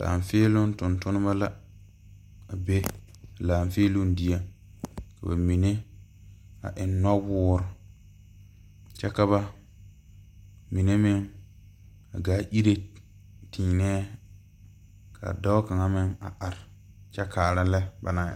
Laanfeeloŋ Tontoneba la a be laanfeeloŋ dieŋ ka bamine eŋ nɔwoore kyɛ ka mine meŋ a gaa iri teenɛɛ ka dɔɔ kaŋa meŋ a are kyɛ kaara lɛ banaŋ erɛ.